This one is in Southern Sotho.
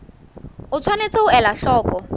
o tshwanetse ho ela hloko